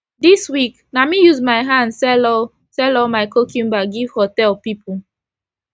this week na me use my hand sell all sell all my cucumber give hotel pipu